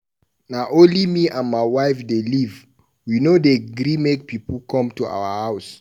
Na only me and my wife dey live, we no dey gree make pipu come our house.